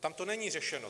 Tam to není řešeno.